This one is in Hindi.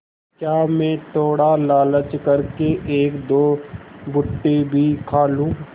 क्या मैं थोड़ा लालच कर के एकदो भुट्टे भी खा लूँ